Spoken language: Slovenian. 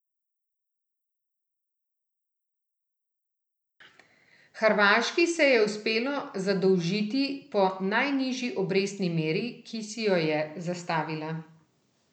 Hrvaški se je uspelo zadolžiti po najnižji obrestni meri, ki si jo je zastavila.